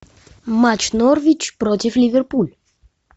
матч норвич против ливерпуль